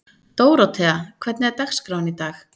Dórótea, hvernig er dagskráin í dag?